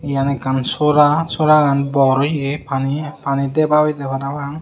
iyan ekkan sora soragan bor oye pani deba oyedey parapang.